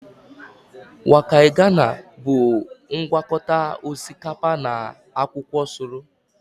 Waakye ghana bụ ngwakọta osikapa na akwụkwọ soro